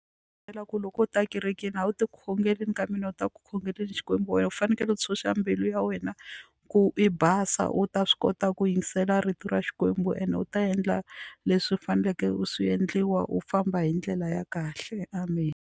ku loko u ta ekerekeni a wu ti khongeleli ka mina wu ta khongeleni Xikwembu wena u fanekele u tshunxa mbilu ya wena ku i basa u ta swi kota ku yingisela rito ra Xikwembu ene u ta endla leswi u faneleke u swi endliwa u famba hi ndlela ya kahle amen.